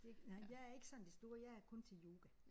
Det nej jeg er ikke sådan det store jeg er kun til yoga